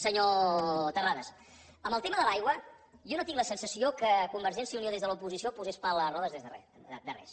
senyor terrades en el tema de l’aigua jo no tinc la sensació que convergència i unió des de l’oposició posés pals a les rodes de res